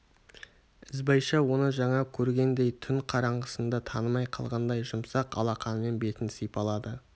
ізбайша оны жаңа көргендей түн қараңғысында танымай қалғандай жұмсақ алақанымен бетін сипалады